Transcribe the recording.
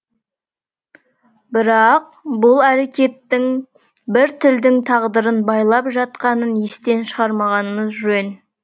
бірақ бұл әрекеттің бір тілдің тағдырын байлап жатқанын естен шығармағанымыз жөн